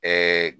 Ɛɛ